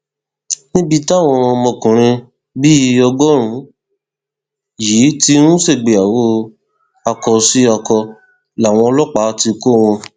níbi táwọn ọmọkùnrin bíi ọgọrùnún yìí ti ń ṣègbéyàwó akósíakọ làwọn ọlọpàá ti kọ wọn